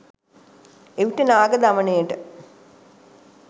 එවිට නාග දමනයට